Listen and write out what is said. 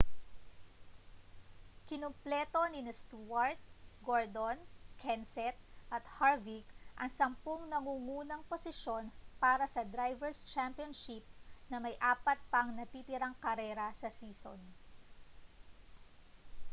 kinumpleto nina stewart gordon kenseth at harvick ang sampung nangungunang posisyon para sa drivers' championship na may apat pang natitirang karera sa season